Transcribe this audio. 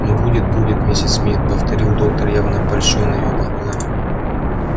ну будет будет миссис мид повторил доктор явно польщённый её похвалами